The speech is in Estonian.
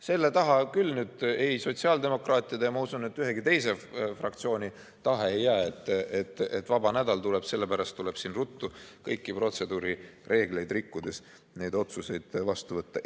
Selle taha küll ei sotsiaaldemokraatide ega, ma usun, ühegi teise fraktsiooni tahe ei jää, et vaba nädal tuleb ja sellepärast tuleb siin ruttu kõiki protseduurireegleid rikkudes neid otsuseid vastu võtta.